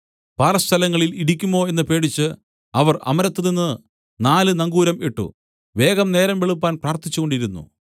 പാറ സ്ഥലങ്ങളിൽ ഇടിക്കുമോ എന്നു പേടിച്ച് അവർ അമരത്തുനിന്ന് നാല് നങ്കൂരം ഇട്ട് വേഗം നേരം വെളുപ്പാൻ പ്രാർത്ഥിച്ചുകൊണ്ടിരുന്നു